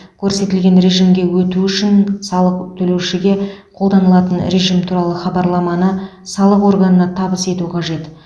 көрсетілген режимге өту үшін салық төлеушіге қолданылатын режим туралы хабарламаны салық органына табыс ету қажет